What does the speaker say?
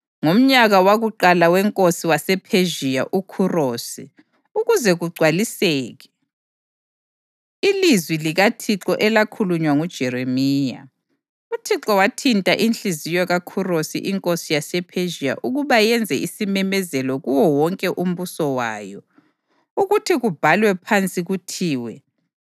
Ngomnyaka wakuqala wenkosi yasePhezhiya uKhurosi, ukuze kugcwaliseke ilizwi likaThixo elakhulunywa nguJeremiya, uThixo wathinta inhliziyo kaKhurosi inkosi yasePhezhiya ukuba yenze isimemezelo kuwo wonke umbuso wayo, ukuthi sibhalwe phansi kuthiwe: